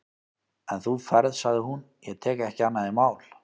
En þú ferð, sagði hún, ég tek ekki annað í mál.